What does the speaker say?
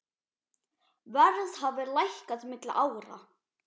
Verð hafi lækkað milli ára.